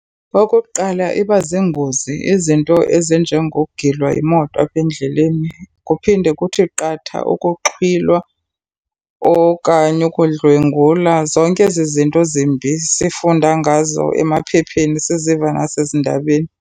Okukuqala, iba ziingozi. Izinto ezinjengokugilwa yimoto apha endleleni. Kuphinde kuthi qatha ukuxhwilwa okanye ukudlwengula. Zonke ezi zinto zimbi sifunda ngazo emaphepheni, siziva nasezindabeni.